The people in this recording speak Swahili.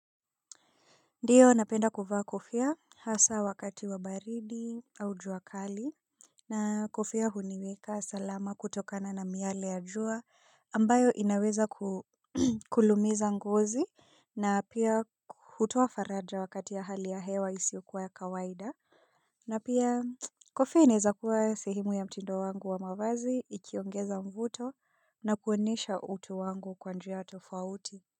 Ndiyo napenda kuvaa kofia hasa wakati wa baridi au juakali na kofia huniweka salama kutokana na miale ya jua ambayo inaweza kulumiza ngozi na pia hutoa faraja wakati ya hali ya hewa isiokuwa ya kawaida na pia kofia inaezakuwa sehemu ya mtindo wangu wa mavazi ikiongeza mvuto na kuonesha utu wangu kwanjia tofauti.